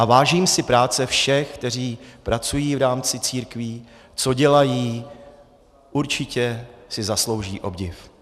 A vážím si práce všech, kteří pracují v rámci církví, co dělají, určitě si zaslouží obdiv.